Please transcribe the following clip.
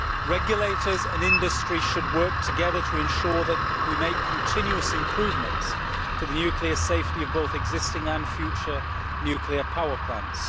Regulators and industry should work together to ensure that we make continuous improvements to the nuclear safety of both existing and future nuclear power plants.